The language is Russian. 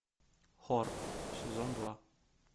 хор сезон два